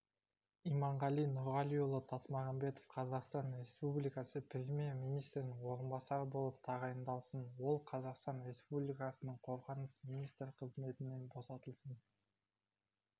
иманғали нұрғалиұлы тасмағамбетов қазақстан республикасы премьер-министрінің орынбасары болып тағайындалсын ол қазақстан республикасының қорғаныс министрі қызметінен босатылсын